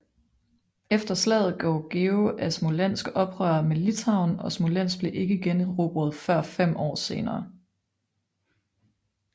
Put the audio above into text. Efter slaget gjorde George af Smolensk oprør mod Litauen og Smolensk blev ikke generobret før fem år senere